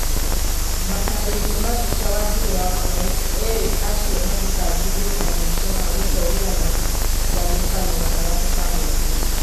Matarĩrio ma mbica wanjiru wakamau erĩ acio mathitangĩirwo na mahĩtia ma gũcogera na ngayukano gatagatĩ ka mũingĩ